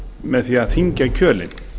með því að þyngja kjölinn